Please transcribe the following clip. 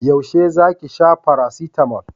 Yaushe za ki sha farasitamol?